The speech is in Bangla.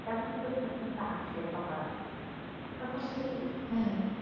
তেমন প্রশ্ন কিন্তু আসে সবার আগে তখন যদি